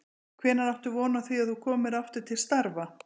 Hvenær áttu von á því að þú komir aftur til starfa?